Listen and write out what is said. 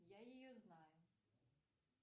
я ее знаю